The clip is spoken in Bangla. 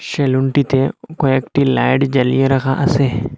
সেলুনটিতে কয়েকটি লাইট জ্বালিয়ে রাখা আসে।